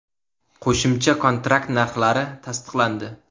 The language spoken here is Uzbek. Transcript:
Qo‘shimcha kontrakt narxlari tasdiqlandi .